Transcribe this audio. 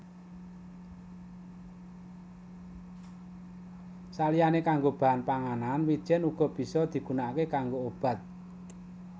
Saliyané kanggo bahan panganan wijèn uga bisa digunakaké kanggo obat